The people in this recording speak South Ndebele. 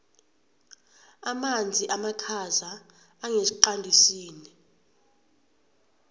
amanzi amakhaza angesiqandisini